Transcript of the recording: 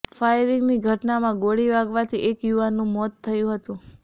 ફાયરિંગની ઘટનામાં ગોળી વાગવાથી એક યુવાનનું મોત થયુ હતું